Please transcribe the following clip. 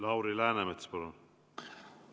Lauri Läänemets, palun!